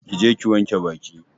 Ki je ki wanke Baki!